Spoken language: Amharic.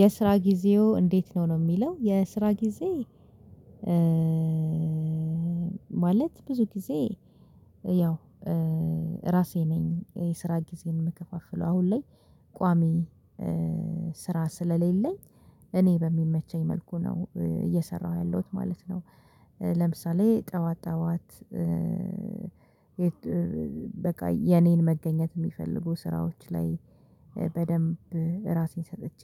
የስራ ጊዜዎ እንዴት ነው ነው የሚለው የስራ ጊዜ? ማለት ብዙ ጊዜ ያው ራሴ ነኝ የስራ ጊዜን የምከፋፍለው አሁን ላይ ቋሚ ስራ ስለሌለኝ እኔ በሚመቸኝ መልኩ ነው እየሰራሁ ያለሁት ማለት ነው። ለምሳሌ ጠዋት ጠዋት። በቃ የኔን መገኘት የሚፈልጉ ስራዎች ላይ በደንብ ራሴን ሰጥቼ